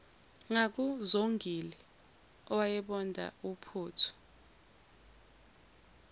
ngakuzongile owayebonda uphuthu